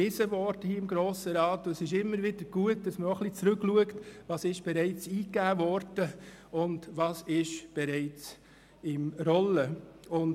Dieser wurde hier überwiesen, und es ist immer wieder gut, wenn man schaut, was bereits eigegeben wurde und was bereits im Rollen ist.